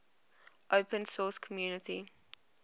open source community